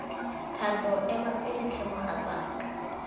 thando ema pele tlhe mogatsaka